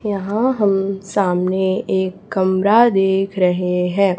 यहां हम सामने एक कमरा देख रहे हैं।